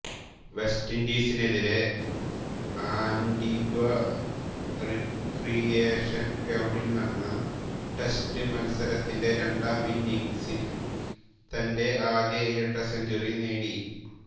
west ഇൻഡീസിനെതിരെ Antigua recreation ഗ്രൌണ്ടിൽ നടന്ന ടെസ്റ്റ് മത്സരത്തിന്റെ രണ്ടാം ഇന്നിംഗ്സിൽ തന്റെ ആദ്യ ഇരട്ട സെഞ്ചുറി നേടി